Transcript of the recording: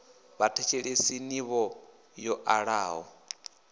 vhathetshelesi n ivho yo alaho